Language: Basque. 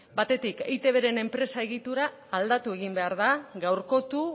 batetik eitbren enpresa egitura aldatu egin behar da gaurkotu